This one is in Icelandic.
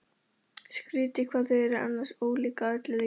Skrýtið hvað þau eru annars ólík að öllu leyti.